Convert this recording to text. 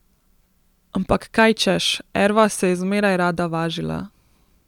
Ampak kaj češ, Erva se je zmeraj rada važila.